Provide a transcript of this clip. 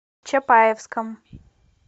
чапаевском